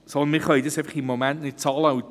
Im Moment können wir es schlicht nicht bezahlen.